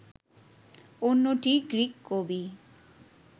অন্যটি গ্রিক কবি